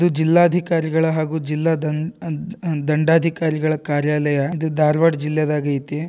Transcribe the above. ಇದು ಜಿಲ್ಲಾಧಿಕಾರಿಗಳ ಹಾಗೂ ಜಿಲ್ಲಾ ದಂ ದಂ ದಾನ್ ದಂಡಾಧಿಕಾರಿಗಳ ಕಾರ್ಯಾಲಯ ಇದು ಧಾರವಾಡ ಜಿಲ್ಲೆಯದಾಗೈತಿ.